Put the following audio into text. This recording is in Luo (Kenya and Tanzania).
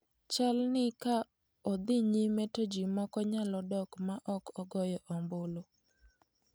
Chalni ka odhi nyime to ji moko nyalo dok ma ok ogoyo omulu.